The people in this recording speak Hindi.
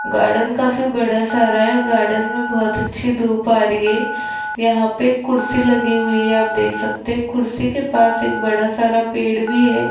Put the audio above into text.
गार्डन काफी बड़ा सारा है गार्डन में बहुत अच्छी धूप आ रही है यहां पर कुर्सी लगी हुई है आप देख सकते कुर्सी के पास एक बड़ा सारा पेड़ भी है।